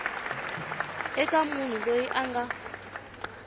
eka munhu loyi a nga